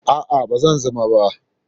A'a, ba zan zama ba.